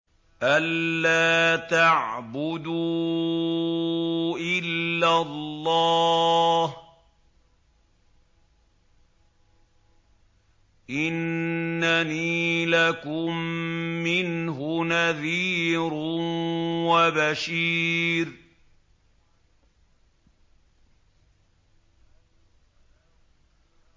أَلَّا تَعْبُدُوا إِلَّا اللَّهَ ۚ إِنَّنِي لَكُم مِّنْهُ نَذِيرٌ وَبَشِيرٌ